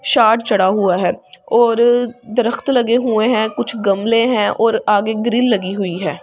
शाद चढ़ा हुआ है और दरख़्त लगे हुए हैं कुछ गमले हैं और आगे ग्रिल लगी हुई है ।